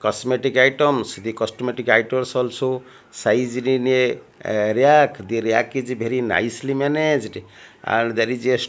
cosmetic items the cosmetic items also sizely ra racked the rack is very nicely managed and there is a --